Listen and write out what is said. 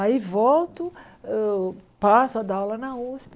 Aí volto, eu passo a dar aula na Usp.